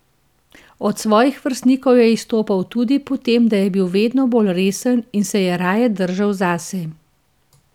Od svojih vrstnikov je izstopal tudi po tem, da je bil vedno bolj resen in se je raje držal zase.